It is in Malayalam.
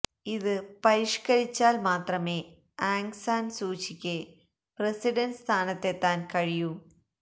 ഇത് പരിഷ്കരിച്ചാല് മാത്രമേ ആങ് സാന് സ്യൂചിക്ക് പ്രസിഡന്റ് സ്ഥാനത്തെത്താന് കഴിയൂ